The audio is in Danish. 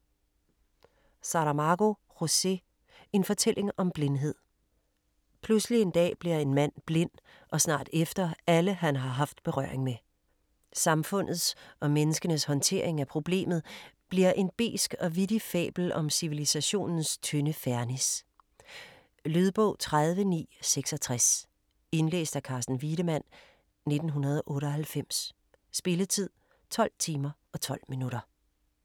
Saramago, José: En fortælling om blindhed Pludselig en dag bliver en mand blind, og snart efter alle han har haft berøring med. Samfundets og menneskenes håndtering af "problemet" bliver en besk og vittig fabel om civilisationens tynde fernis. Lydbog 30966 Indlæst af Carsten Wiedemann, 1998. Spilletid: 12 timer, 12 minutter.